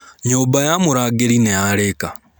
Nyũmba ya mũrangĩri nĩyarĩka.